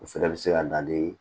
O fɛnɛ bɛ se ka na ni